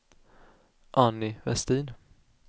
Annie Vestin